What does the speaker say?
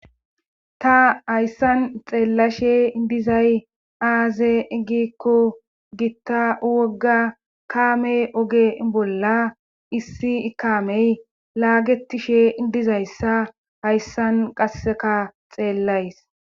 Ta hayssan xeellashe dizay aaze eggikko gitta wogga kaamey oge bolla issi ikaamey laagetishe dizayssa hayssan qasseka xeellays